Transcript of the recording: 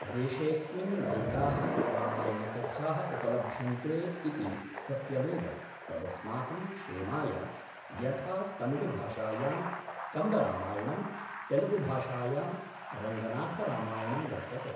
देशेऽस्मिन् नैकाः रामायणकथाः उपलभ्यन्ते इति सत्यमेव तदस्माकं क्षेमाय यथा तमिळुभाषायां कम्बरामायणं तेलुगुभाषायां रङ्गनाथरामायणं वर्तते